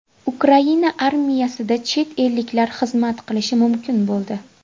Ukraina armiyasida chet elliklar xizmat qilishi mumkin bo‘ldi.